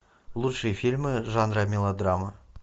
лучшие фильмы жанра мелодрама